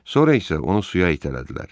Sonra isə onu suya itələdilər.